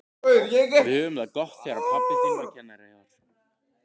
Við höfðum það gott þegar pabbi þinn var kennari þar.